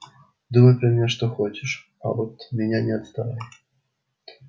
думай про меня что хочешь а от меня не отставай